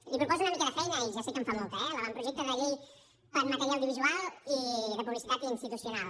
li proposo una mica de feina i ja sé que en fa molta eh l’avantprojecte de llei en matèria audiovisual i de publicitat institucional